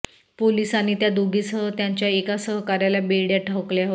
पोलिसांनी त्या दोघीसह त्यांच्या एका सहकाऱ्याला बेड्या ठोकल्या होत्या